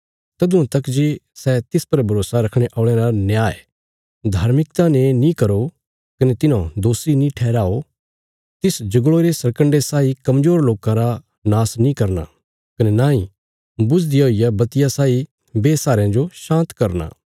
जिस किसी जो बी कोई समस्या इ सै इक बुझदे हुए दिऊए साई आ प्रभुये तिसरा नुक्शान नीं होणे देणा पर आखिर च तिस न्याय करवाएगा